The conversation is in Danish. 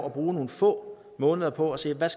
at bruge nogle få måneder på at se hvad